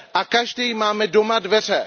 A každý máme doma dveře.